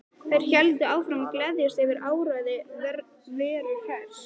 Þær héldu áfram að gleðjast yfir áræði Veru Hress.